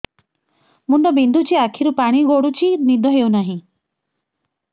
ମୁଣ୍ଡ ବିନ୍ଧୁଛି ଆଖିରୁ ପାଣି ଗଡୁଛି ନିଦ ହେଉନାହିଁ